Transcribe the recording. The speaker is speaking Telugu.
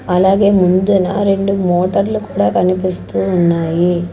అలాగే ముందున రెండు మోటర్లు కూడా కనిపిస్తూ ఉన్నాయి.